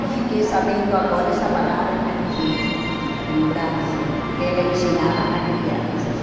Eu fiquei sabendo agora essa palavra aqui, no Brasil, que ela ensinava a crianças.